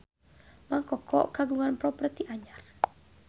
Mang Koko kagungan properti anyar